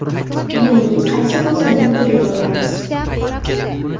Ya’ni qaysi bozor modeliga o‘tamiz.